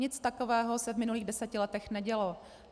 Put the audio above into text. Nic takového se v minulých deseti letech nedělo.